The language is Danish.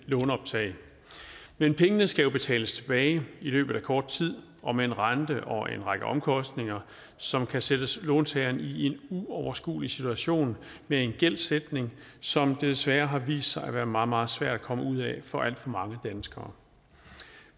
låneoptag men pengene skal jo betales tilbage i løbet af kort tid og med en rente og en række omkostninger som kan sætte låntageren i en uoverskuelig situation med en gældsætning som desværre har vist sig at være meget meget svær at komme ud af for alt for mange danskere